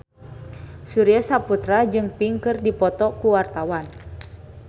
Surya Saputra jeung Pink keur dipoto ku wartawan